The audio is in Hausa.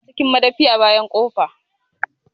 Ya na cikin madafi a bayan ƙofa